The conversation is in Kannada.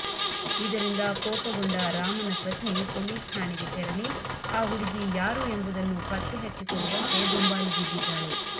ಇದರಿಂದ ಕೋಪಗೊಂಡ ರಾಮನ ಪತ್ನಿ ಪೊಲೀಸ್ ಠಾಣೆಗೆ ತೆರಳಿ ಆ ಹುಡಗಿ ಯಾರು ಎಂಬುದನ್ನು ಪತ್ತೆ ಹಚ್ಚಿಕೊಡುವಂತೆ ದುಂಬಾಲು ಬಿದ್ದಿದ್ದಾಳೆ